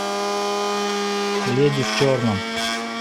леди в черном